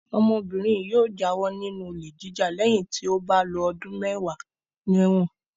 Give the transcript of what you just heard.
Ọmọbìnrin yóò jáwọ́ nínú olè jíjà lẹ́yìn tí ó bá lo ọdún mẹ́wàá lẹ́wọ̀n.